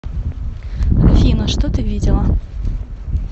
афина что ты видела